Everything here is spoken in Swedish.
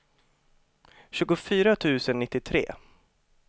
tjugofyra tusen nittiotre